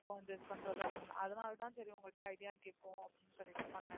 இப்போ வந்து பண்றது அப்படின்~அதுனால தான் சரி உங்ககிட்ட idea கேப்போம் அப்படின்னு சொல்லிட்டு பண்ணேன்.